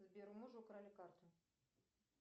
сбер у мужа украли карту